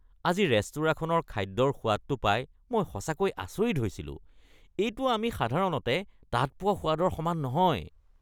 আজি ৰেস্তোৰাঁখনৰ খাদ্যৰ সোৱাদটো পাই মই সঁচাকৈ আচৰিত হৈছিলোঁ। এইটো আমি সাধাৰণতে তাত পোৱা সোৱাদৰ সমান নহয়।